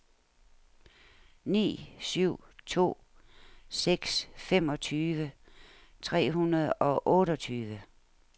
ni syv to seks femogtyve tre hundrede og otteogtyve